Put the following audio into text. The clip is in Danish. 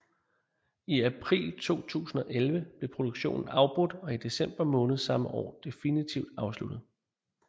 I april 2011 blev produktionen afbrudt og i december måned samme år definitivt afsluttet